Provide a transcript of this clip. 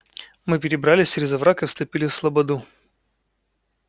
мы перебрались через овраг и вступили в слободу